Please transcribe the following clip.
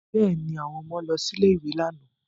Bẹ́ẹ̀ ni, àwọn ọmọ lọ sí ilé-ìwé lánàá